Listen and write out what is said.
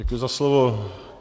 Děkuji za slovo.